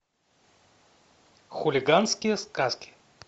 хулиганские сказки